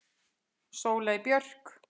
Sóley Björk